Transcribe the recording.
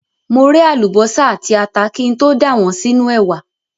Mo ré àlùbọ́sà àti ata kí n tó dà wọ́n sínú ẹ̀wà.